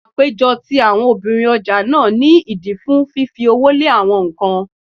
Àpéjọ ti àwọn obìnrin ọjà ní ìdí fún fífi owó lé awọn nǹkan.